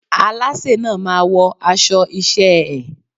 Alásè náà máa wọ aṣọ iṣẹ́ ẹ́.